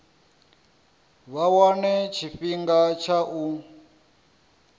vha wane tshifhinga tsha u